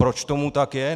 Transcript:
Proč tomu tak je?